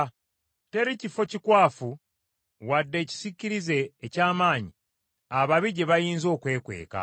Teri kifo kikwafu wadde ekisiikirize eky’amaanyi, ababi gye bayinza okwekweka.